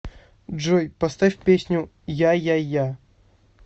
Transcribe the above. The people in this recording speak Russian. джой поставь песню я я я я